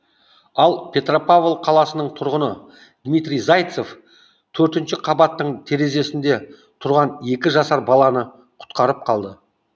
ал петропавл қаласының тұрғыны дмитрий зайцев төртінші қабаттың терезесінде тұрған екі жасар баланы құтқарып қалды